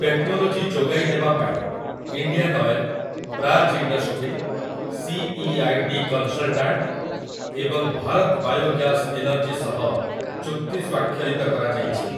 Technology ଯୋଗାଇ ଦେବା ପାଇଁ 'Indian oil', 'Praj industry', 'C. E. I. D. Consultant' ଏବଂ 'ଭାରତ୍ ବାୟୋ ଗ୍ୟାସ୍ ଏନର୍ଜି' ସହ ଚୁକ୍ତି ସ୍ୱାକ୍ଷରିତ କରାଯାଇଛି ।